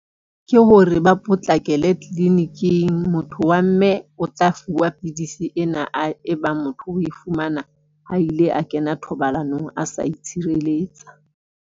Ke hore ba potlakele clinic-ing. Motho wa mme o tla fuwa pidisi ena a e bang motho o e fumana ha ile a kena thobalanong a sa itshireletsa.